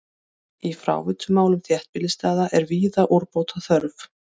Í fráveitumálum þéttbýlisstaða er víða úrbóta þörf.